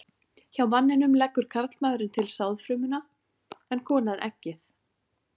Hjá manninum leggur karlmaðurinn til sáðfrumuna en konan eggið.